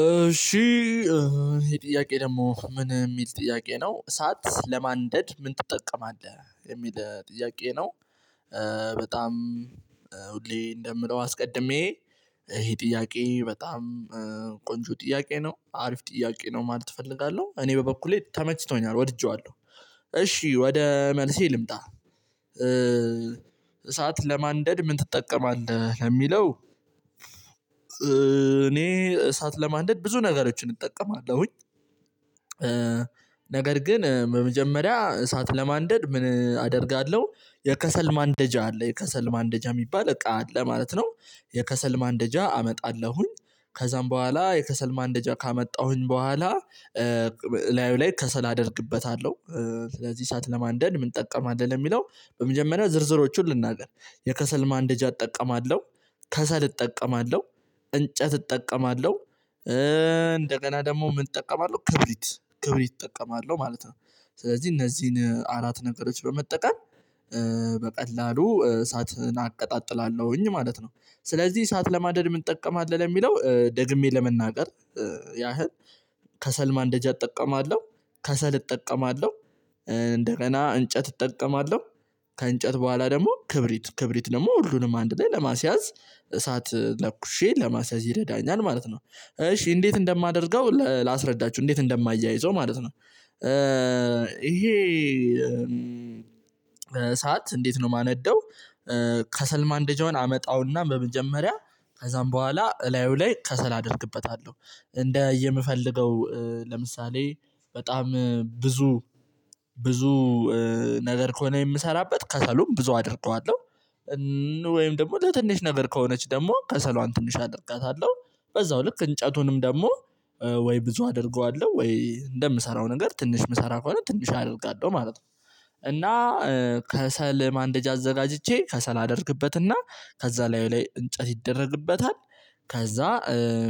እሺ ይሄ ጥያቄ ደግሞ ምን የሚል ጥያቄ ነው እሳት ለማንደድ ምን ትጠቀማለህ የሚል ጥያቄ ነው። በጣም ሁሌ እንደምለው አስቀድሜ ይሄ ጥያቄ በጣም ቆንጆ ጥያቄ ነው አሪፍ ጥያቄ ነው ማለት እፈልጋለሁ እኔ በበኩሌ ተመችቶኛል ወድጄዋለሁ። እሺ ወደ መልሴ ልምጣ። እሳት ለማንደድ ምን ትጠቀማለህ ለሚለው እኔ እሳት ለማንደድ ብዙ ነገሮችን እጠቀማለሁኝ። ነገር ግን በመጀመሪያ እሳት ለማንደድ ምን አደርጋለሁ? የከሰል ማንደጃ አለ የከሰል ማንደጃ የሚባል እቃ ለማለት ነው። የከሰል ማንደጃ አመጣለሁኝ። ከዛም በኋላ የከሰል ማንደጃ ካመጣሁኝ በኋላ እላዩ ከሰል አደርግበታለሁ። ስለዚህ እሳት ለማንደድ ምን ትጠቀማለህ ለሚለው? በመጀመሪያ ዝርዝሮቹን ልናገር የከሰል ማንደጃ እጠቀማለሁ። ከሰል እጠቀማለሁ። እንጨት እጠቀማለሁ። እንደገና ደግሞ ምን እጠቀማለሁ ክብሪት ክብሪት እጠቀማለሁ ማለት ነው። ስለዚህ እነዚህን አራት ነገሮች በመጠቀም በቀላሉ እሳትን አቀጣጥላለሁኝ ማለት ነው። ስለዚህ ሰዓት ለማንደድ ምን እጠቀማለሁ የሚለው ደግሜ ለመናገር። ያህል ከሰል ማንደጃ እጠቀማለሁ። ከሰል እጠቀማለሁ። እንደገና እንጨት እጠቀማለሁ። ከእንጨት በኋላ ደግሞ ክብሪት ክብሪት ደግሞ ሁሉንም አንድ ላይ ለማስያዝ እሳት ለኩሼ ለማስያዝ ይረዳኛል ማለት ነው። እሺ እንዴት እንደማደርገው ላስረዳችሁ እንዴት እንደማያይዘው ማለት ነው። ይሄ እሳት እንዴት ነው የማነደው? ከሰል ማንደጃውን አመጣውና በመጀመሪያ ከዛም በኋላ እላዩ ላይ ከሰል አደርግበታለሁ። እንደ የምፈልገው ለምሳሌ በጣም ብዙ ብዙ ነገር ከሆነ የምሰራበት ከሰሉም ብዙ አደርገዋለሁ። ወይም ደግሞ ለትንሽ ነገር ከሆነች ደግሞ ከሰሏን ትንሽ አደርጋታለሁ። በዛው ልክ እንጨቱንም ደግሞ ወይ ብዙ አደርገዋለሁ ወይ እንደምሰራው ነገር ትንሽ የምሰራ ከሆነ ትንሽ አደርጋለሁ ማለት ነው። እና ከሰል ማንደጃ አዘጋጅቼ ከሰል አደርግበትና ከዛ ላዩ ላይ እንጨት ይደረግበታል። ከዛ